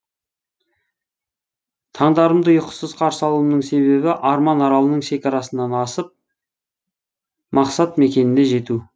таңдарымды ұйқысыз қарсы алуымның себебі арман аралының шекарасынан асып мақсат мекеніне жету